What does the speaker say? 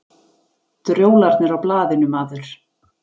Drjólarnir á blaðinu, maður.